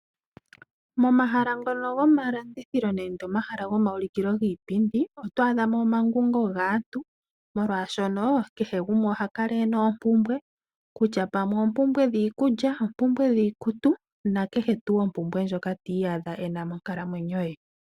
Momahala ngono gomalandithilo nenge omahala gomaulikilo giipindi oto adha mo omangungo gaantu molwaashono kehe gumwe oha kala e na oompumbwe, kutya pamwe oompumbwe dhiikulya, oompumbwe dhiikutu nakehe tuu ompumbwe ndjoka ti iyadha e na monkalamwenyo ye.